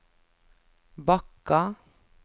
Bakka